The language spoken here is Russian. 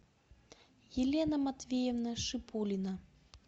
елена матвеевна шипулина